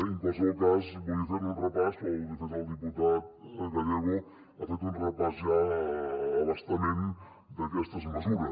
en qualsevol cas volia fer ne un repàs però de fet el diputat gallego ha fet un repàs ja a bastament d’aquestes mesures